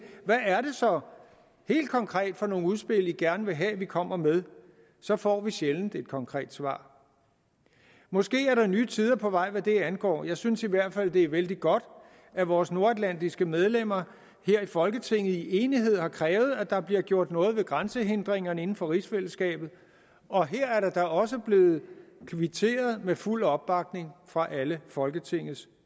helt konkret er for nogle udspil man gerne vil have vi kommer med så får vi sjældent et konkret svar måske er der nye tider på vej hvad det angår jeg synes i hvert fald det er vældig godt at vores nordatlantiske medlemmer her i folketinget i enighed har krævet at der bliver gjort noget ved grænsehindringerne inden for rigsfællesskabet og her er der da også blevet kvitteret med fuld opbakning fra alle folketingets